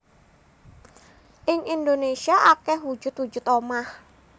Ing Indonésia akeh wujud wujud omah